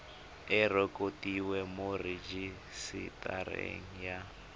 e rekotiwe mo rejisetareng ya